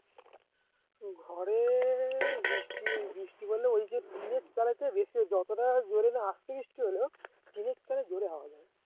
ঘরে বৃষ্টি বৃষ্টি পড়লে ওই যে টিনের চালে তো বেশি হোক যতটা জোরে না আস্তে বৃষ্টি হলেও টিনের চালে জোরে আওয়াজ হয়